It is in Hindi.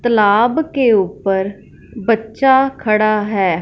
तलाब के ऊपर बच्चा खड़ा है।